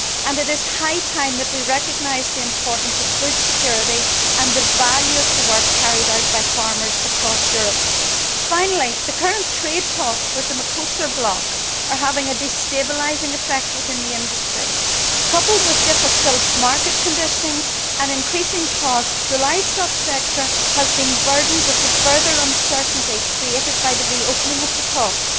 It is high time we recognised the importance of food security and the value of the work carried out by farmers across Europe. Finally, the current trade talks with the Mercosur bloc are having a destabilising effect within the industry. Coupled with difficult market conditionings and increasing costs, the livestock sector has been burdened with the further uncertainty created by reopening of the talks.